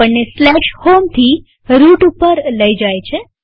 આપણને home થી route ઉપર લઇ જાય છે